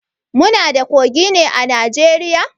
Muna da kogi ne a Najeriya?